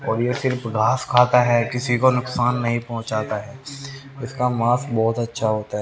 और यह सिर्फ घास खाता है किसी को नुकसान नहीं पहुंचाता है इसका मांस बहुत अच्छा होता है।